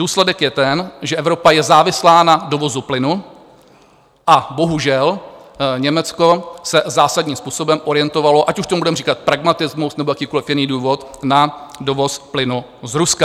Důsledek je ten, že Evropa je závislá na dovozu plynu, a bohužel Německo se zásadním způsobem orientovalo, ať už tomu budeme říkat pragmatismus, nebo jakýkoli jiný důvod, na dovoz plynu z Ruska.